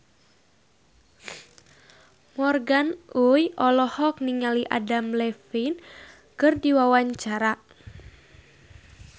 Morgan Oey olohok ningali Adam Levine keur diwawancara